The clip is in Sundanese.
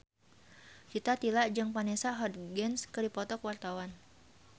Rita Tila jeung Vanessa Hudgens keur dipoto ku wartawan